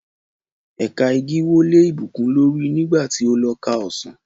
Ẹ̀ka igi wó lé Ìbùkún lórí nígbà tí ó lọ ká ọsàn